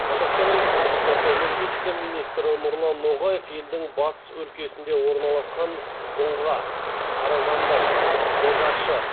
қазақстан республикасы энергетика министрі нұрлан ноғаев елдің батыс өлкесінде орналасқан дұңға қаражанбас бозащы